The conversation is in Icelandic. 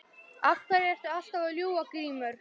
Af hverju ertu alltaf að ljúga Grímur?